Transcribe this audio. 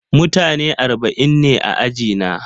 Mutane arba'in ne a ajina.